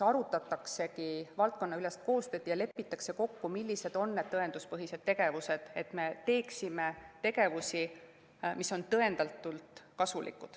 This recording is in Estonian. Arutataksegi valdkonnaülest koostööd ja lepitakse kokku, millised on need tõenduspõhised tegevused, et me teeksime seda, mis on tõendatult kasulik.